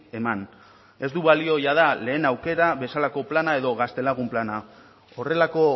eman ez du balio jada lehen aukera bezalako plana edo gaztelagun plana horrelako